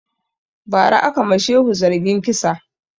Ba ra aka ma shehu zargin kisa